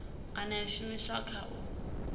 kana ya shumiswa kha u